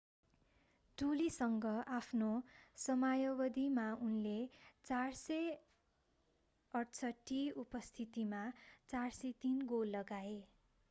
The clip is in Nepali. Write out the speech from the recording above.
टोलीसँगको आफ्नो समयावधिमा उनले 468 उपस्थितिमा 403 गोल लगाए